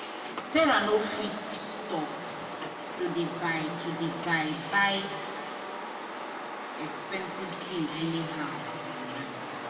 sarah no fit stop to dey buy to dey buy expensive things anyhow online. um